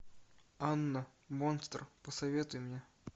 анна монстр посоветуй мне